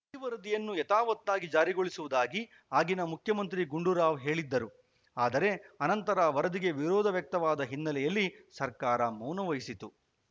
ಈ ವರದಿಯನ್ನು ಯಥಾವತ್ತಾಗಿ ಜಾರಿಗೊಳಿಸುವುದಾಗಿ ಆಗಿನ ಮುಖ್ಯಮಂತ್ರಿ ಗುಂಡೂರಾವ್‌ ಹೇಳಿದ್ದರು ಆದರೆ ಅನಂತರ ವರದಿಗೆ ವಿರೋಧ ವ್ಯಕ್ತವಾದ ಹಿನ್ನೆಲೆಯಲ್ಲಿ ಸರ್ಕಾರ ಮೌನ ವಹಿಸಿತು